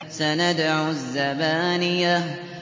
سَنَدْعُ الزَّبَانِيَةَ